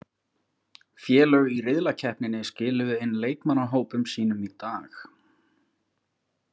Félög í riðlakeppninni skiluðu inn leikmannahópum sínum í dag.